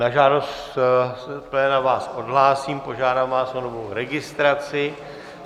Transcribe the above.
Na žádost z pléna vás odhlásím, požádám vás o novou registraci.